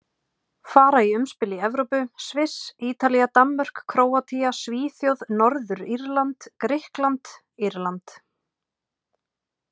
Fara í umspil í Evrópu Sviss Ítalía Danmörk Króatía Svíþjóð Norður-Írland Grikkland Írland